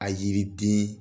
A yiriden